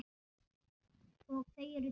Og þau eru tvö.